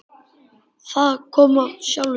Það kom af sjálfu sér.